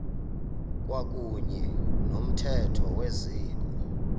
kwakuyne nomthetho wezikolo